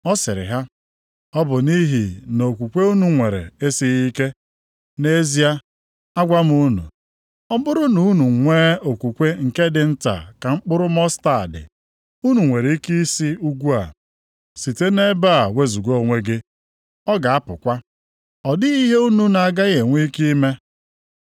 Ọ sịrị ha, “Ọ bụ nʼihi na okwukwe unu nwere esighị ike. Nʼezie, agwa m unu, ọ bụrụ na unu e nwee okwukwe nke dị nta ka mkpụrụ mọstaadị, unu nwere ike ị sị ugwu a, ‘Site nʼebe a wezuga onwe gị,’ ọ ga-apụtakwa. Ọ dịghị ihe unu na-agaghị enwe ike ime.